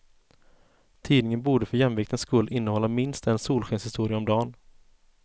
Tidningen borde för jämviktens skull innehålla minst en solskenshistoria om dan.